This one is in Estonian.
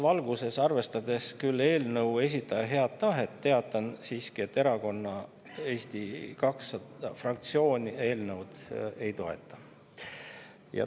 Selles valguses, arvestades küll eelnõu esitaja head tahet, teatan siiski, et Erakonna Eesti 200 fraktsioon eelnõu ei toeta.